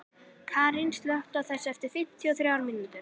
Karín, slökktu á þessu eftir fimmtíu og þrjár mínútur.